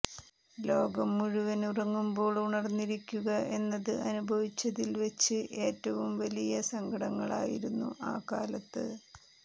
ലോകം മുഴുവന് ഉറങ്ങുമ്പോള് ഉണര്ന്നിരിക്കുക എന്നത് അനുഭവിച്ചതില്വെച്ച് ഏറ്റവും വലിയ സങ്കടങ്ങളായിരുന്നു ആ കാലത്ത്